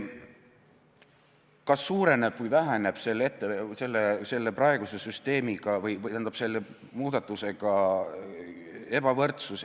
Kas selle muudatusega suureneb või väheneb ebavõrdsus?